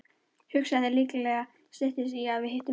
Hugsaðu þér, líklega styttist í að við hittumst.